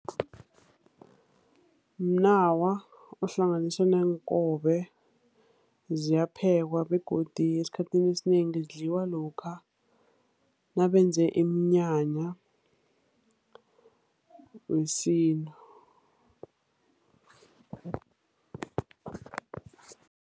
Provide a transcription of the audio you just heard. Mnawa ohlanganiswe neenkobe, ziyaphekwa begodu esikhathini esinengi zidliwa lokha nabenze iminyanya wesintu.